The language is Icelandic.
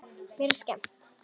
Mér er skemmt.